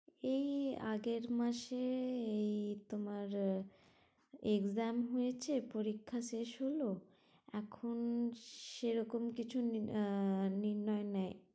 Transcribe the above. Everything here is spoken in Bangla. এই আগের মাসে এই তোমার exam হয়েছে পরীক্ষা শেষ হলো, এখন সেরকম কিছু নিন আহ নির্ণয় নেই